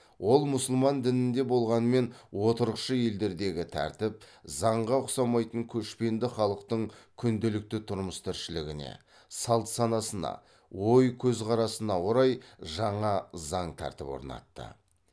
ол мұсылман дінінде болғанмен отырықшы елдердегі тәртіп заңға ұқсамайтын көшпенді халықтың күнделікті тұрмыс тіршілігіне салт санасына ой көзқарасына орай жаңа заң тәртіп орнатты